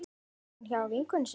Var hún hjá vinkonu sinni?